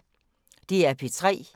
DR P3